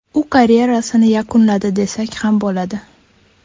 U karyerasini yakunladi, desak ham bo‘ladi.